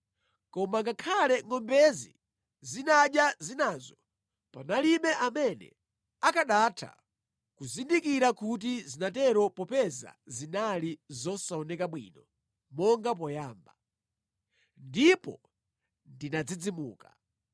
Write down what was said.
Koma ngakhale ngʼombezi zinadya zinazo, palibe amene akanatha kuzindikira kuti zinatero popeza zinali zosaonekabe bwino monga poyamba. Ndipo ndinadzidzimuka.